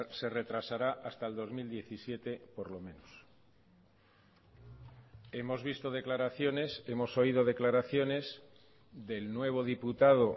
se retrasará hasta el dos mil diecisiete por lo menos hemos visto declaraciones hemos oído declaraciones del nuevo diputado